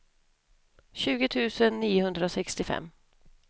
tjugo tusen niohundrasextiofem